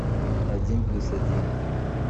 один плюс один